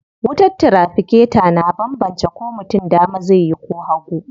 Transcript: Wutar tiraficator na banbance ko mutum dama zai yi ko hagu.